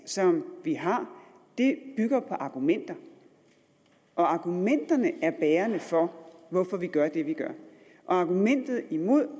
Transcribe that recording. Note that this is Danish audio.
som vi har bygger på argumenter og argumenterne er bærende for hvorfor vi gør det vi gør argumenterne imod